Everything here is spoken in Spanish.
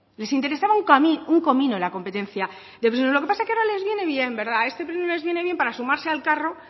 les interesaba un comino la competencia de prisiones lo que pasa es que ahora les viene bien a este pleno les viene bien para sumarse al carro